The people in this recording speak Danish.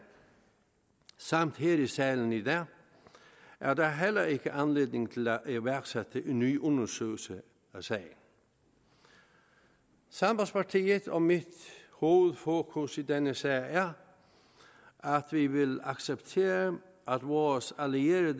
samt her i salen i dag er der heller ikke anledning til at iværksætte en ny undersøgelse af sagen sambandspartiet og mit hovedfokus i denne sag er at vi vil acceptere at vores allierede